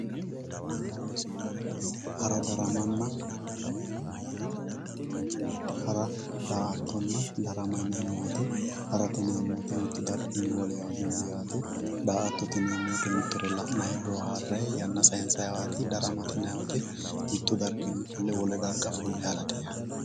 Hara, daa"attonna darama yineemmo woyte ,ha'rate yineemmoti mitu darginni wolewa milli yaate ,daa"attote yineemmo woyte la'nanni booharanni yanna sayinsanniwati, daramate yinanni woyte mitu darginni fulle ha'rate yaate.